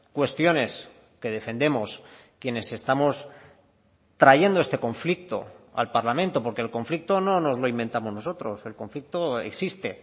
cuestiones que defendemos quienes estamos trayendo este conflicto al parlamento porque el conflicto no nos lo inventamos nosotros el conflicto existe